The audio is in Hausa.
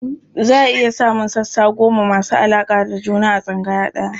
Za a iya samun sassa goma masu alaƙa da juna a tsangaya ɗaya.